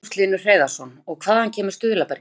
Magnús Hlynur Hreiðarsson: Og hvaða kemur stuðlabergið?